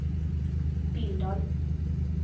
Billdal